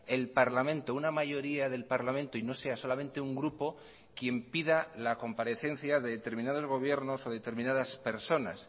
el parlamento una mayoría del parlamento y no sea solamente un grupo quien pida la comparecencia de determinados gobiernos o determinadas personas